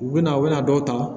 U bɛna u bɛna dɔw ta